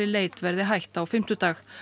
leit verði hætt á fimmtudag